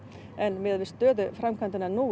miðað við stöðu framkvæmdanna nú